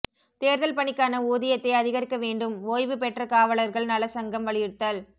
தேர்தல் பணிக்கான ஊதியத்தை அதிகரிக்க வேண்டும் ஓய்வு பெற்ற காவலர்கள் நல சங்கம் வலியுறுத்தல்